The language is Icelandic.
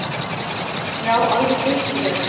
Já, alveg geysilega.